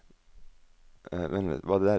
en sju en åtte elleve tre hundre og femtisju